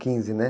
Quinze, né?